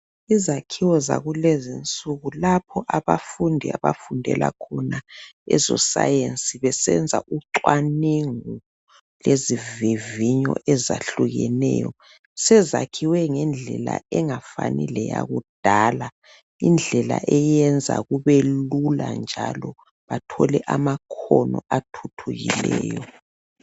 Izakhiwo zakulezinsuku lapho abafundi abafundela khona ezoscience besenza ucwanengu lezivivinyo ezahlukeneyo sezakhiwe ngendlela engafani leyakudala indlela eyenza kubelula njalo bathole amakhono athuthukileyo